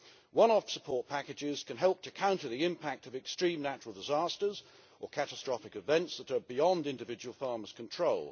One-off support packages can help to counter the impact of extreme natural disasters or catastrophic events that are beyond individual farmer's control.